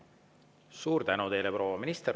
Suur tänu teile, proua minister!